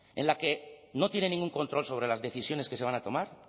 en la que no tiene ningún control sobre las decisiones que se van a tomar